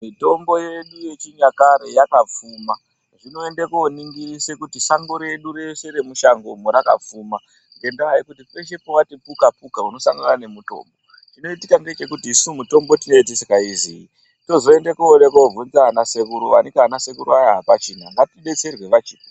Mitombo yedu yechinyakare yakapfuma. Toenda kuningirisa kuri sangoredurese remusango rakapfuma ngendaa yekuti pese. pawatii buka buka unosangana nemutombo chinozoenda kuipitikakuti mitombo iyi tinenge tisingaizvi tozoenda kuda kun obvunza ana sekuru waneyi vana sekuru vaya hapachina ngatibetserwe vachipo.